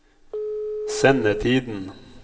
sendetiden